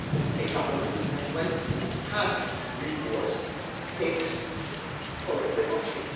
a government that, when it has reports, takes corrective action.